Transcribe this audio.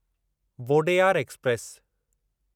Wodeyar express